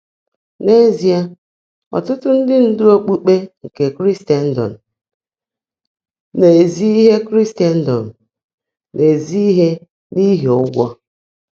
N’ézíe, ọ́tụ́tụ́ ndị́ ndụ́ ókpukpé nkè Kríséndọ́m “ná-èzí íhe Kríséndọ́m “ná-èzí íhe n’íhí ụ́gwọ́.”